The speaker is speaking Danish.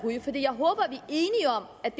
af